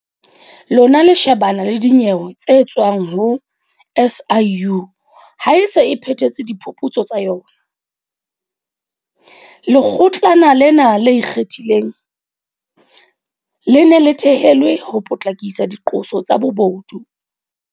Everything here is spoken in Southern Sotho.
Lona le shebana le dinyewe tse tswang ho SIU ha e se e phethetse diphuputso tsa yona. Lekgotlana lena le Ikgethileng, le ne le thehelwe ho potlakisa diqoso tsa bobodu.